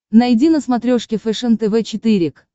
найди на смотрешке фэшен тв четыре к